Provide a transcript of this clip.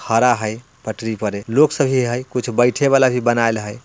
खड़ा हेय पटरी पे ये लोग सब भी है कुछ बैठे वाला भी बनाएल हेय।